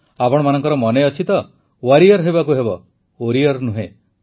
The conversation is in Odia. ଆପଣମାନଙ୍କର ମନେ ଅଛି ତ ୱାରିୟର ହେବାକୁ ହେବ ଓରିୟର୍ ନୁହେଁ